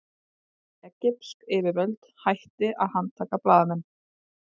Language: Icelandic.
Egypsk yfirvöld hætti að handtaka blaðamenn